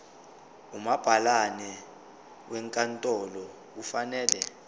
umabhalane wenkantolo kufanele